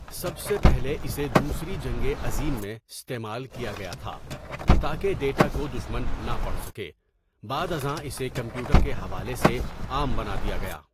سب سے پہلے اسے دوسری جنگٍ عظیم میں استعمال کیا گیا تھا تاکہ ڈیٹا کو دشمن نہ پڑھ سکے بعد ازاں اسے کمپیوٹر کے حوالے سے عام بنا دیا گیا.